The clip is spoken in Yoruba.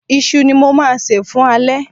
Iṣu ni mo máa sè fún alẹ́